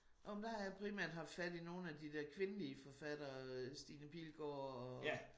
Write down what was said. Nåh men der har jeg primært haft fat i nogle af de der kvindelige forfattere Stine Pilgaard